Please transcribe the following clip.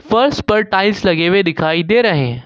फर्श पर टाइल्स लगे हुए दिखाई दे रहे हैं।